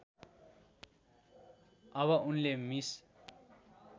अब उनले मिस